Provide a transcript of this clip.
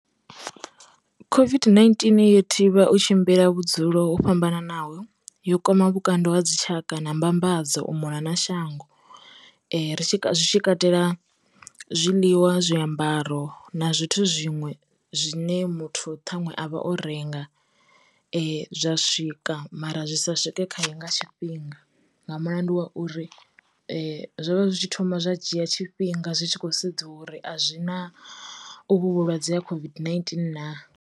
COVID-19 yo thivha u tshimbila vhudzulo ho fhambananaho, yo kwama vhukando vha dzitshaka na mbambadzo u muna na shango, zwitshi katela zwiḽiwa, zwiambaro na zwithu zwiṅwe zwine muthu ṱhaṅwe a vha o renga zwa swika mara zwi sa swike khaye nga tshi fhinga, nga mulandu wa uri zwo vha zwi tshi thoma zwa dzhia tshifhinga zwi tshi khou sedziwa uri a zwi na ovhu vhulwadze ha COVID-19 na.